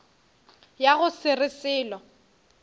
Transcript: ya go se re selo